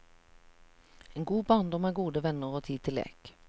En god barndom er gode venner og tid til lek.